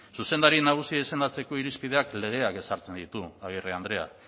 zuzendari nagusia izendatzeko irizpideak legeak ezartzen ditu agirre andrea